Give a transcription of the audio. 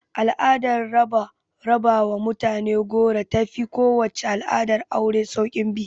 Al'adar raba wa mutane goro ta fi kowace al'adar aure sauƙin bi